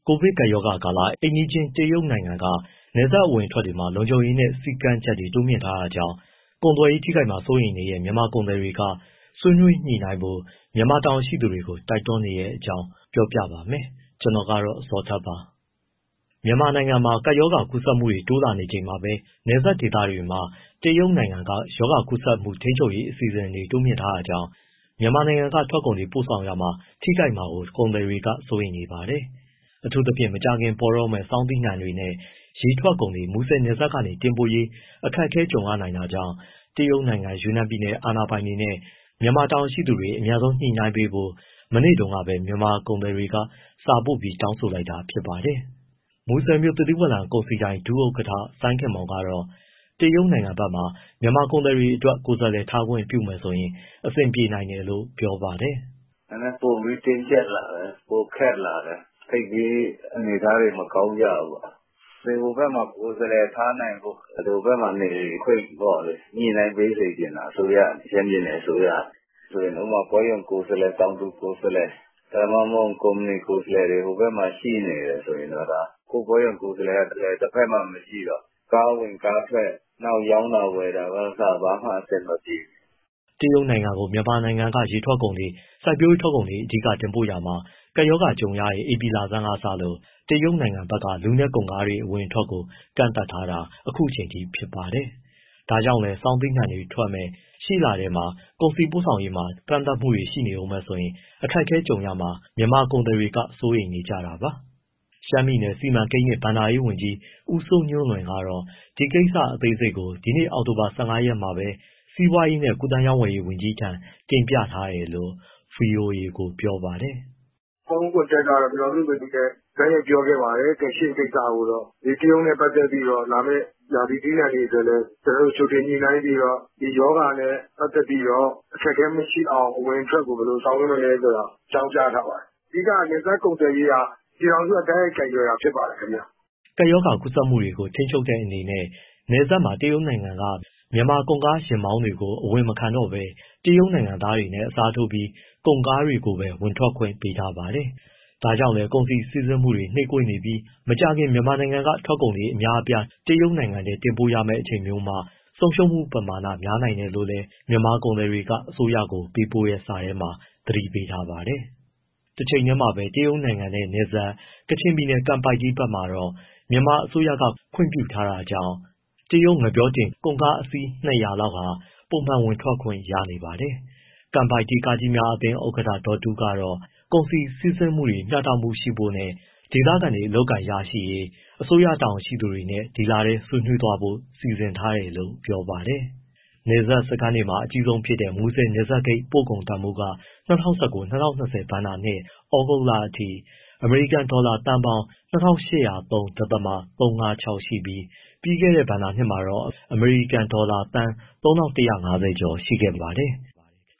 ိုဗစ်ကပ်ရောဂါကာလ အိမ်နီးချင်းတရုတ်နိုင်ငံက နယ်စပ်အဝင်အထွက်တွေမှာ လုံခြုံရေးနဲ့ စည်းကမ်းချက်တွေ တိုးမြှင့်ထားတာကြောင့် ကုန်သွယ်ရေး ထိခိုက်မှာ စိုးရိမ်နေတဲ့ မြန်မာကုန်သည်တွေက ဆွေးနွေးညှိနှိုင်းဖို့ မြန်မာတာဝန်ရှိသူတွေကို တိုက်တွန်းနေတဲ့အကြောင်း ကိုဇော်ထက် ပြောပြမှာပါ။ မြန်မာနိုင်ငံမှာ ကပ်ရောဂါ ကူးစက်မှုတွေ တိုးလာနေချိန်မှာပဲ နယ်စပ်ဒေသတွေမှာ တရုတ်နိုင်ငံက ရောဂါကူးစက်မှုထိန်းချုပ်ရေး အစီအစဉ်တွေ တိုးမြှင့်ထားတာကြောင့် မြန်မာနိုင်ငံကထွက်ကုန်တွေ ပို့ဆောင်ရာမှာ ထိခိုက်မှာကို ကုန်သည်တွေ စိုးရိမ်နေပါတယ်။ အထူးသဖြင့် မကြာခင်ပေါ်တော့မယ့် ဆောင်းသီးနှံတွေနဲ့ ရေထွက်ကုန်တွေ မူဆယ်နယ်စပ်ကနေ တင်ပို့ရေး အခက်အခဲ ကြုံရနိုင်တာကြောင့် တရုတ်နိုင်ငံ ယူနန်ပြည်နယ် အာဏာပိုင်တွေနဲ့ မြန်မာတာဝန်ရှိသူတွေ အမြန်ဆုံးညှိနှိုင်းပေးဖို့ မနေ့တုန်းကပဲ မြန်မာကုန်သည်တွေက စာပို့ပြီးတောင်းဆို လိုက်တာပါ။ မူဆယ်မြို့ သစ်သီးဝလံကုန်စည်ဒိုင် ဒုဥက္ကဋ္ဌ စိုင်းခင်မောင်ကတော့ တရုတ်နိုင်ငံဘက်မှာ မြန်မာကုန်သည်တွေအတွက် ကိုယ်စားလှယ်တွေ ထားခွင့်ပြုမယ်ဆိုရင် အဆင်ပြေနိုင်တယ်လို့ ပြောပါတယ်။ “ နည်းနည်း ပိုပြီး တင်းကျပ်လာတယ်၊ ပိုခက်လာတယ်၊ သိပ်ပြီး အနေအထားတွေ မကောင်းကြဘူးပေါ့။ ဟိုဘက်မှာ ကိုယ်စားလှယ် ထားနိုင်ဖို့ ဟိုဘက်မှာ နေခွင့်ပေါ့လေ ညှိနှိုင်းပေးစေချင်တာ အစိုးရ၊ ရှမ်းပြည်နယ် အစိုးရက။ ဥပမာ ပွဲရုံကိုယ်စားလှယ်၊ တောင်သူကိုယ်စားလှယ်၊ ဒါမှမဟုတ် ကုမ္ပဏီ ကိုယ်စားလှယ်တွေ ဟိုဘက်မှာ ရှိနေတယ် ဆိုရင်တော့။ ကိုယ့်ပွဲရုံကိုယ်စားလှယ်က တဖက်မှာ မရှိတော့ ကားဝင်ကားထွက် နောက်ရောင်းတာ၊ ဝယ်တာကအစ ဘာမှ အဆင်မပြေဘူး။” တရုတ်နိုင်ငံကို မြန်မာနိုင်ငံက ရေထွက်ကုန်တွေ၊ စိုက်ပျိုးရေးထွက်ကုန်တွေ အဓိက တင်ပို့နေရာမှာ ကပ်ရောဂါ ကြုံရတဲ့ ဧပြီလဆန်းကစလို့ တရုတ်နိုင်ငံဘက်က လူနဲ့ ကုန်ကားအဝင်အထွက်ကို ကန့်သတ်ထားတာ အခုအချိန်အထိပါ။ ဒါကြောင့်လည်း ဆောင်းသီးနှံတွေထွက်မယ့် ရှေ့လထဲမှာ ကုန်စည်တင်ပို့ရေးမှာ ကန့်သတ်မှုတွေ ရှိနေဦးမယ်ဆိုရင် အခက်အခဲကြုံရမှာကို မြန်မာကုန်သည်တွေဘက်က စိုးရိမ်နေကြပါတယ်။ ရှမ်းပြည်နယ် စီမံကိန်းနှင့် ဘဏ္ဍာရေးဝန်ကြီး ဦးစိုးညွှန့်လွင်ကတော့ ဒီကိစ္စအသေးစိတ်ကို ဒီနေ့ အောက်တိုဘာ ၁၅ ရက်မှာပဲ စီးပွားရေးနဲ့ ကူးသန်းရောင်းဝယ်ရေး ဝန်ကြီးထံ တင်ပြထားတယ်လို့ ဗွီအိုအေကို ပြောပါတယ်။ “ ဖုန်း contact က ပြည်ထောင်စုဝန်ကြီးနဲ့ တိုက်ရိုက်ပြောခဲ့ပါတယ် ငါးရှဉ့်ကိစ္စကို၊ တရုတ်နဲ့ပတ်သက်ပြီး လာမယ့် ရာသီသီးနှံတွေ အတွက်လည်း ကျနော်တို့ ကြိုတင်ညှိနှိုင်းပြီးတော့ ဒီရောဂါနဲ့ ပတ်သက်ပြီးတော့ အခက်အခဲမရှိအောင်၊ အဝင်အထွက်ကို ဘယ်လိုဆောင်ရွက်မလဲ ဆိုတာ အကြောင်းကြားထား ပါတယ်။ အဓိက က နယ်စပ်ကုန်သွယ်ရေးက ပြည်ထောင်စုက တိုက်ရိုက် ကိုင်တွယ်တာ ဖြစ်ပါတယ်ခင်ဗျ။” ကပ်ရောဂါကူးစက်မှုတွေကို ထိန်းချုပ်တဲ့အနေနဲ့ နယ်စပ်မှာ တရုတ်နိုင်ငံက မြန်မာကုန်ကားယာဉ်မောင်းသမားတွေကို မဝင်မခံတော့ဘဲ တရုတ်နိုင်ငံသားနဲ့ အစားထိုးပြီး ကုန်ကားကိုပဲ ဝင်ခွင့်ပေးထားပါတယ်။ ဒါကြောင့်လည်း ကုန်စည်စီးဆင်းမှုတွေ နှေးကွေးနေပြီး မကြာခင် မြန်မာနိုင်ငံက ထွက်ကုန်တွေ အများအပြား တရုတ်နိုင်ငံထဲ တင်ပို့ရမယ့် အချိန်မျိုးမှာ ဆုံးရှုံးမှုပမာဏ များနိုင်တယ်လို့လည်း မြန်မာကုန်သည်တွေက အစိုးရကို ပေးပို့ထားတဲ့ စာထဲမှာ သတိပေးထားပါတယ်။ တချိန်တည်းမှာပဲ တရုတ်နိုင်ငံနဲ့နယ်စပ် ကချင်ပြည်နယ် ကန်ပိုက်တီးဘက်မှာတော့ မြန်မာအစိုးရက ခွင့်ပြုထားတာကြောင့် တရုတ်ငှက်ပျောတင် ကုန်ကား အစီး ၂၀၀ လောက် ပုံမှန်ဝင်ထွက်ခွင့် ရနေပါတယ်။ ကန်ပိုက်တီး ကားကြီးများအသင်း ဥက္ကဋ္ဌ ဒေါ်တူးကတော့ ကုန်စည်စီးဆင်းမှုတွေ မျှတမှုရှိဖို့နဲ့ ဒေသခံတွေအလုပ်အကိုင်ရရှိရေး အစိုးရတာဝန်ရှိသူတွေနဲ့ ဒီလထဲ ဆွေးနွေးဖို့ စီစဉ်ထားတယ်လို့ ပြောပါတယ်။ နယ်စပ်စခန်းတွေမှာ အကြီးဆုံးဖြစ်တဲ့ မူဆယ်နယ်စပ်ဂိတ် ပို့ကုန်တန်ဖိုးက ၂၀၁၉- ၂၀၂၀ ဘဏ္ဍာနှစ် ဩဂုတ်လအထိ အမေရိကန်ဒေါ်လာ သန်းပေါင်း ၂၈၀၃.၃၅၆ ရှိပြီး၊ ပြီးခဲ့တဲ့ဘဏ္ဍာနှစ်ကတော့ အမေရိကန်ဒေါ်လာ သန်း ၃၁၅၀ ကျော် ရှိခဲ့ပါတယ်။